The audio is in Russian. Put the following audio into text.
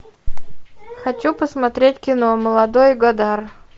хочу посмотреть кино молодой годар